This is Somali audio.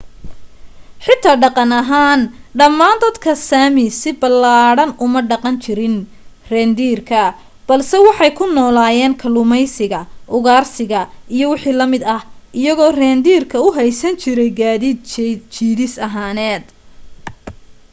xitaa dhaqan ahaan dhammaan dadka sami si ballaadhan uma dhaqan jirin reendiirka balse waxay ku noolaayeen kalluumaysiga ugaarsiga iyo wixii la mid ah iyagoo reendiirka u haysan jiray gaadiid jiidis ahaaneed